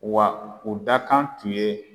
Wa o dakan tun ye